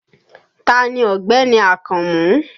Taa ni Ọ̀gbẹ́ni Akànmú?